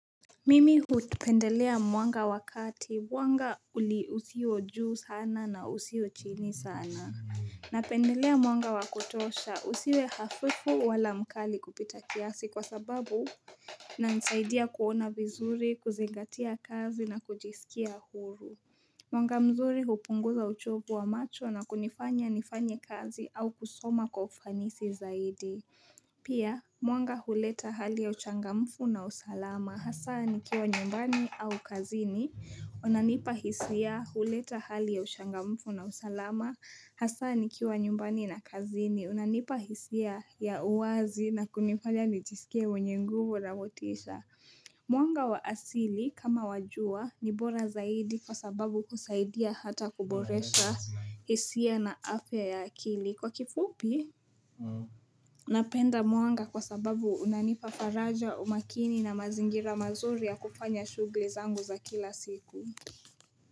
Mimi hupendelea mwanga wakati mwanga uli usio juu sana na usio chini sana na pendelea mwanga wa kutosha usiwe hafifu wala mkali kupita kiasi kwa sababu na nisaidia kuona vizuri, kuzingatia kazi na kujisikia huru Mwanga mzuri kupunguza uchovu wa macho na kunifanya nifanye kazi au kusoma kwa ufanisi zaidi Pia mwanga huleta hali ya uchangamfu na usalama Hasa nikiwa nyumbani au kazini unanipa hisia huleta hali ya uchangamfu na usalama Hasa nikiwa nyumbani na kazini unanipa hisia ya uwazi na kunifanya nijisikia mwenye nguvu na motisha Mwanga wa asili kama wajua ni bora zaidi Kwa sababu husaidia hata kuboresha hisia na afya ya akili Kwa kifupi, unapenda mwanga kwa sababu unanipa faraja umakini na mazingira mazuri ya kufanya shughuli zangu za kila siku.